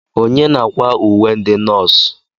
Onye na-akwa uwe ndị nọọsụ?